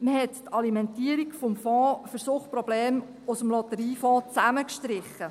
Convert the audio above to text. Man hat die Alimentierung für den Fonds für Suchtprobleme aus dem Lotteriefonds zusammengestrichen.